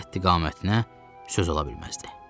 Qəddi-qamətinə söz ola bilməzdi.